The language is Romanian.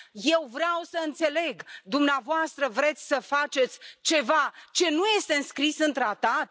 Eu vreau să înțeleg dumneavoastră vreți să faceți ceva ce nu este înscris în tratat?